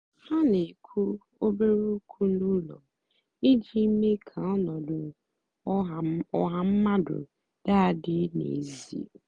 ha na-èkwú òbèré ókwú n’ụ́lọ́ ijì meé kà ọnọ́dụ́ ọ́ha mmadụ́ dị́ àdị́ n'ézìè.